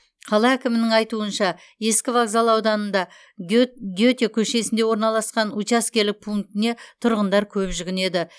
қала әкімінің айтуынша ескі вокзал ауданында гет гете көшесінде орналасқан учаскелік пунктіне тұрғындар көп жүгінеді